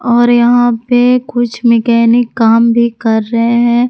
और यहा पे कुछ मैकेनिक काम भी कर रहे हैं।